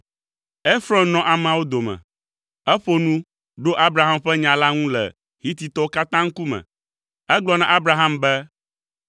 Efrɔn nɔ ameawo dome. Eƒo nu, ɖo Abraham ƒe nya la ŋu le Hititɔwo katã ŋkume. Egblɔ na Abraham be,